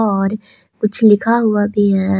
और कुछ लिखा हुआ भी है।